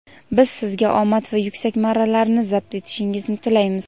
Biz sizga omad va yuksak marralarni zabt etishingizni tilaymiz.